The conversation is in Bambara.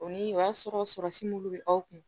O ni o y'a sɔrɔ si m'olu bɛ aw kun